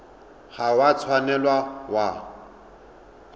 ga o a tshwanela wa